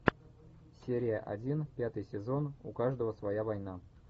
серия один пятый сезон у каждого своя война